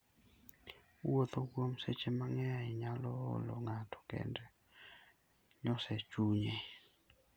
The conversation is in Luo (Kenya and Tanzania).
Wuotho kuom seche mang'eny nyalo olo ng'ato kendo nyoso chunye.